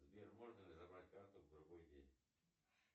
сбер можно ли забрать карту в другой день